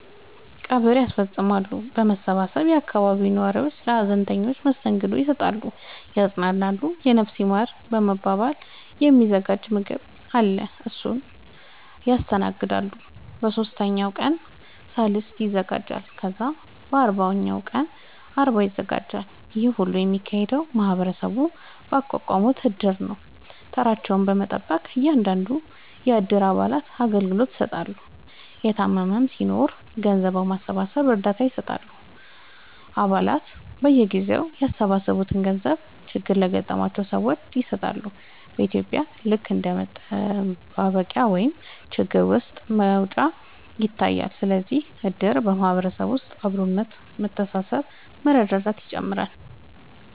ቀብር ያስፈፅማሉ በመሰባሰብ የአካባቢው ነዋሪዎች ለሀዘንተኞች መስተንግዶ ይሰጣሉ ያፅናናሉ የነፍስ ይማር በመባል የ ሚዘጋጅ ምገባ አለ እሱን ያስተናግዳሉ በ ሶስተኛው ቀን ሰልስት ይዘጋጃል ከዛ በ አርባኛው ቀን አርባ ይዘጋጃል ይሄ ሁሉ የሚካሄደው ማህበረሰቡ ባቋቋሙት እድር ነው ተራቸውን በመጠበቅ እያንዳንዱን የ እድሩ አባላቶች አገልግሎት ይሰጣሉ የታመመም ሲናኖር ገንዘብ በማሰባሰብ እርዳታ ይሰጣሉ አ ባላቱ በየጊዜው ያሰባሰቡትን ገንዘብ ችግር ለገጠማቸው ሰዎች ይሰጣሉ በ ኢትዩጵያ ልክ እንደ መጠባበቂያ ወይም ችግር ውስጥ መውጫ ይታያል ስለዚህም እድር በ ማህበረሰብ ውስጥ አብሮነት መተሳሰብ መረዳዳትን ይጨምራል